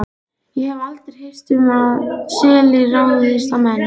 Ég hef aldrei heyrt um að selir ráðist á menn.